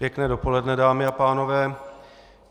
Pěkné dopoledne, dámy a pánové.